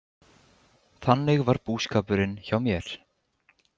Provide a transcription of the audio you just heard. Þannig var búskapurinn hjá mér.